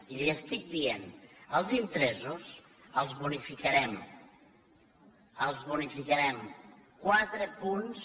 i li estic dient els interessos els bonificarem els bonificarem quatre punts